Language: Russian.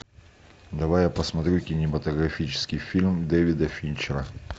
давай я посмотрю кинематографический фильм дэвида финчера